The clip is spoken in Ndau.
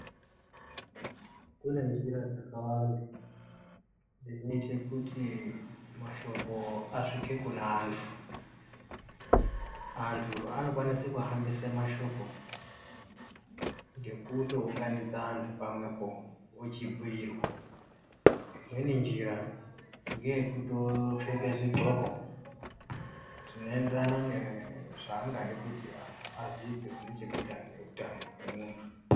Kunenjira dzakawanda dzinoite kuti mashoko asvike kune antu ,antu anokwanise kuhambise mashoko ngekutounganidze anhu pamwepo ochibhuyirwa ,imweni njira ngeyekuto pfeke zvidhloko zvinoenderana ne zvaangade kuti antu aziiswe zvinechekuita neutano hwemuntu.